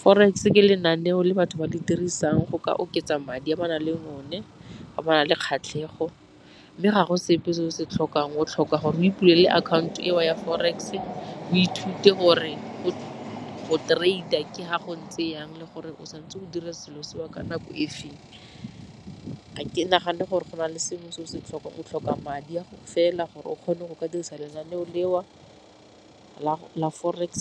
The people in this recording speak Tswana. Forex ke lenaneo le batho ba di dirisang go ka oketsa madi a ba nang le o ne ba na le kgatlhego, mme ga go sepe se o se tlhokang o tlhoka gore o ipulele akhaoto eo ya forex-e, o ithute gore go trader ke fa go ntse jang le gore o santse o dira selo seo ka nako e feng. Ga ke nagane gore go na le sengwe se o ka se tlhokang, o tlhoka madi a fela gore o kgone go ka dirisa lenaneo leo la forex